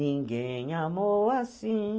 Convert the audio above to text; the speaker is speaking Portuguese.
Ninguém amou assim.